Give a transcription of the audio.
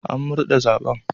An murde zaben.